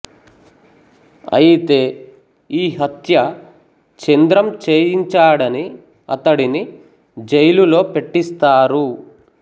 అయితే ఈ హత్య చంద్రం చేయించాడని అతడిని జైలులో పెట్టిస్తారు